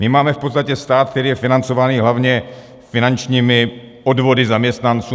My máme v podstatě stát, který je financován hlavně finančními odvody zaměstnanců.